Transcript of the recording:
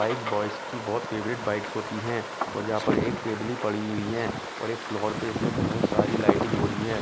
Bikes boys की बहुत favourite bikes होती हैं और यहाँ पर एक टेबल ही पड़ी हुई है और एक फ्लोर पे इसमें बहुत सारी लाइटिंग हो रही है।